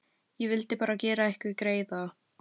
Ég vildi bara gera ykkur greiða.